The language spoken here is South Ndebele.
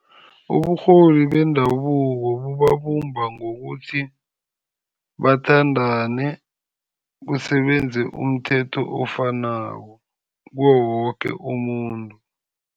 Uburholi bendabuko bubabumba ngokuthi bathandane. Kusebenze umthetho ofanako kuwowoke umuntu.